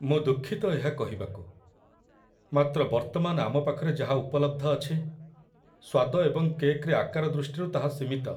ମୁଁ ଦୁଃଖିତ ଏହା କହିବାକୁ, ମାତ୍ର ବର୍ତ୍ତମାନ ଆମ ପାଖରେ ଯାହା ଉପଲବ୍ଧ ଅଛି, ସ୍ୱାଦ ଏବଂ କେକ୍‌‌ରେ ଆକାର ଦୃଷ୍ଟିରୁ ତାହା ସୀମିତ ।